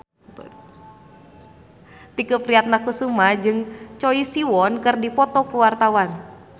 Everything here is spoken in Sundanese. Tike Priatnakusuma jeung Choi Siwon keur dipoto ku wartawan